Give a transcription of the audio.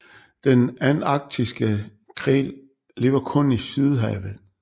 Den antarktiske krill lever kun i Sydhavet